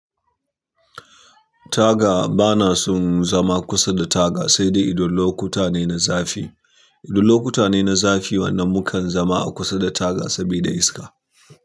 Taga, bana son zama kusa da taga sai dai idan lokuta ne na zafi. Idan lokuta ne na zafi wannan mukan zama a kusa da taga sabida iska.